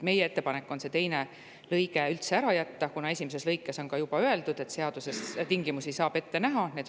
Meie ettepanek on teine lõik üldse ära jätta, kuna esimeses lõigus on juba öeldud, et seaduses saab tingimusi ette näha.